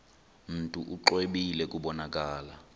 mntu exwebile kubonakala